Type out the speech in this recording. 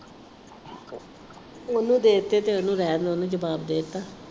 ਉਹਨੂੰ ਦੇ ਤੇ ਤੇ ਉਹਨੂੰ ਰਹਿਣ ਤਾਂ ਜਵਾਬ ਦੇ ਤਾ।